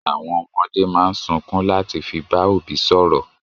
Àwọn ọmọdé máa ń sunkún láti fi bá òbí sọ̀rọ̀.